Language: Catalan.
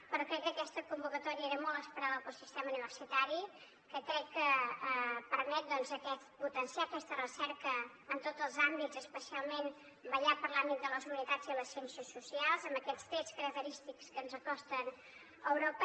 però crec que aquesta convocatòria era molt esperada pel sistema universitari perquè crec que permet potenciar aquesta recerca en tots els àmbits especialment vetllar per l’àmbit de les humanitats i les ciències socials amb aquests trets característics que ens acosten a europa